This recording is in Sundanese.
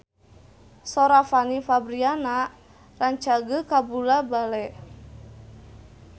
Sora Fanny Fabriana rancage kabula-bale